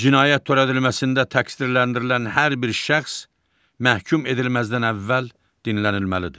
Cinayət törədilməsində təqsirləndirilən hər bir şəxs məhkum edilməzdən əvvəl dinlənilməlidir.